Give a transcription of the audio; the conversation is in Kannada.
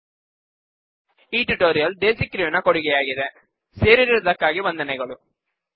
ಈ ಟ್ಯುಟೋರಿಯಲ್ ದೇಸಿಕ್ರೂ ಸೊಲ್ಯುಶನ್ ಪ್ರೈವೇಟ್ ಲಿಮಿಟೆಡ್ ನ ಕೊಡುಗೆಯಾಗಿದೆ ಸೇರಿರುವುದಕ್ಕಾಗಿ ವಂದನೆಗಳು